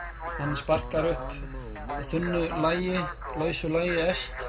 sparkað upp þunnu lagi lausu lagi efst